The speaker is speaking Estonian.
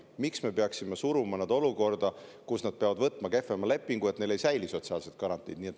Miks me peaksime suruma nad olukorda, kus nad peavad võtma kehvema lepingu, nii et neil ei säili sotsiaalsed garantiid?